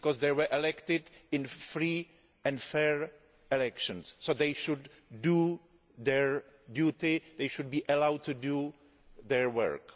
They were elected in free and fair elections, so they should do their duty and they should be allowed to do their work.